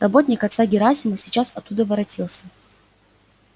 работник отца герасима сейчас оттуда воротился